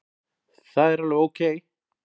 Það er alveg ókei.